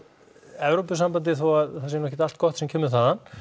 Evrópusambandið þó að það sé nú ekkert allt gott sem kemur þaðan